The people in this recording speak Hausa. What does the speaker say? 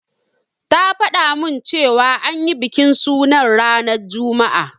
Ta fada min cewa an yi bikin sunan ranar juma'a.